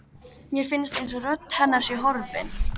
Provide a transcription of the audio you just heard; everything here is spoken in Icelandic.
Mér finnst einsog rödd hennar sé horfin.